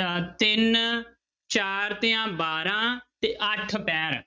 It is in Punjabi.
ਅਹ ਤਿੰਨ ਚਾਰ ਤੀਆ ਬਾਰਾਂ ਤੇ ਅੱਠ ਪਹਿਰ